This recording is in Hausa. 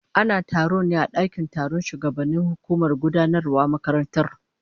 Ana taron ne a dakin taron shugabannin hukumar gudanarwar makarantar